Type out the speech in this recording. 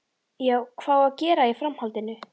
Já, hvað á að gera í framhaldinu?